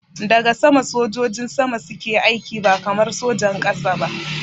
Daga sama sojojin sama suke aiki ba kamar sojan ƙasa ba